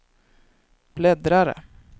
bläddrare